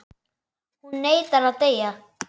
Hún neitar að deyja.